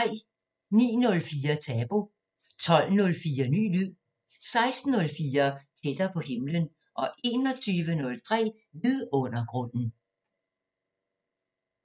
09:04: Tabu 12:04: Ny lyd 16:04: Tættere på himlen 21:03: Vidundergrunden